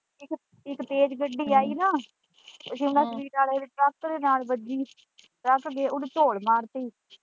ਇੱਕ ਤੇਜ ਗੱਡੀ ਆਈ ਨਾ ਟਰੱਕ ਦੇ ਨਾਲ ਵੱਜੀ ਟਰੱਕ ਉਹਨੇ ਝੋਲ ਮਾਰਤੀ।